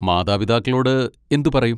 മാതാപിതാക്കളോട് എന്ത് പറയും?